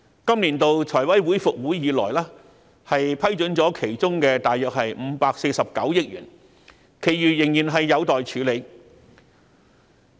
今年度財委會復會以來，批准了其中大約549億元，其餘仍然有待處理。